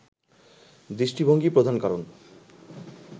দৃষ্টিভঙ্গিই প্রধান কারণ